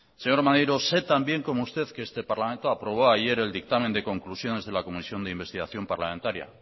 señor maneiro sé tan bien como usted que este parlamento aprobó ayer el dictamen de conclusiones de la comisión de investigación parlamentaria